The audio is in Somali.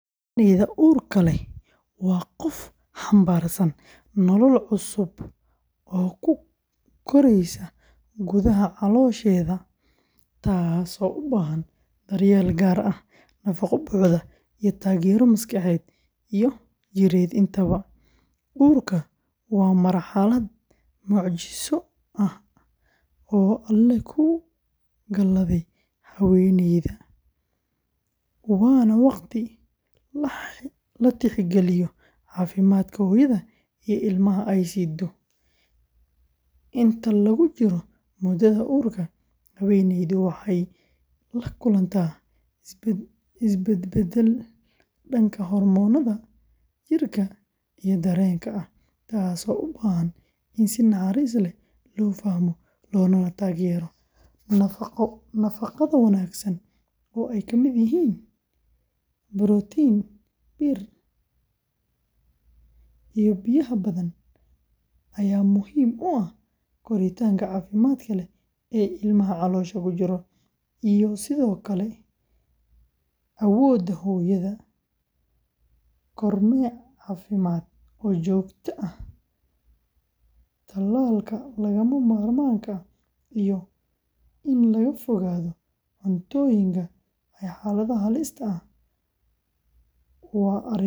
Haweeneyda uurka leh waa qof xambaarsan nolol cusub oo ku koraysa gudaha caloosheeda, taasoo u baahan daryeel gaar ah, nafaqo buuxda, iyo taageero maskaxeed iyo jireed intaba. Uurka waa marxalad mucjiso ah oo Alle ku galaday haweeneyda, waana waqti la tixgeliyo caafimaadka hooyada iyo ilmaha ay siddo. Inta lagu jiro muddada uurka, haweeneydu waxay la kulantaa isbedbeddel dhanka hormoonnada, jidhka, iyo dareenka ah, taasoo u baahan in si naxariis leh loo fahmo loogana taageero. Nafaqada wanaagsan oo ay ka mid yihiin borotiin, bir, iyo biyaha badan ayaa muhiim u ah koritaanka caafimaadka leh ee ilmaha caloosha ku jira, iyo sidoo kale awoodda hooyada. Kormeer caafimaad oo joogto ah, talaalka lagama maarmaanka ah, iyo in laga fogaado cuntooyinka iyo xaaladaha halista ah waa arrimo lagama maarmaan ah.